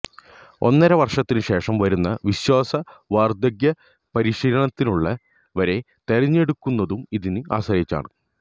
ഒന്നര വര്ഷത്തിന് ശേഷം വരുന്ന വിശ്വാസ വര്ധക പരിശീലനത്തിനുള്ളവരെ തെരഞ്ഞെടുക്കുന്നതും ഇതിനെ ആശ്രയിച്ചാണ്